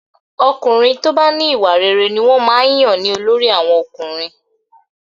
Ọkùnrin tó bá ní ìwà rere ni wọ́n máa ń yàn ní olórí àwọn ọkùnrin